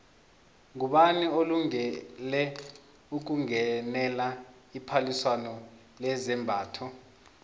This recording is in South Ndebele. ngubani olungele ukungenela iphaliswano lezambatho